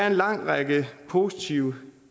en lang række positive